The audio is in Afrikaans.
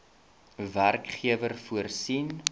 werkgewer voorsien